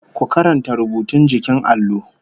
Ku karanta rubutun jikin allon!